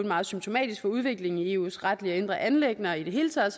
meget symptomatisk for udviklingen i eus retlige og indre anliggender i det hele taget